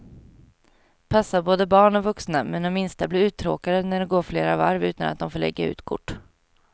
Passar både barn och vuxna, men de minsta blir uttråkade när det går flera varv utan att de får lägga ut kort.